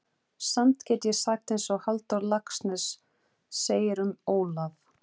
Samt get ég sagt einsog Halldór Laxness segir um Ólaf